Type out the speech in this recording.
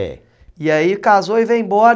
É. E aí casou e veio embora.